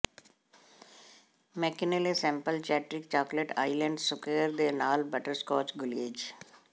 McKinley maple chatterick chocolate island square ਦੇ ਨਾਲ butterscotch glaze